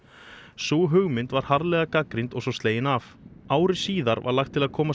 sú hugmynd var harðlega gagnrýnd og svo slegin af ári síðar var lagt til að koma